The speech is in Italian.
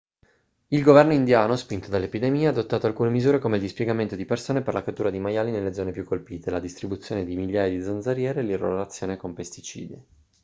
il governo indiano spinto dall'epidemia ha adottato alcune misure come il dispiegamento di persone per la cattura dei maiali nelle zone più colpite la distribuzione di migliaia di zanzariere e l'irrorazione con pesticidi